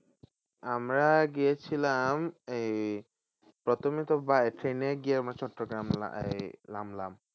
আমরা গিয়েছিলাম এই প্রথমে তো ট্রেনে গিয়ে নামলাম।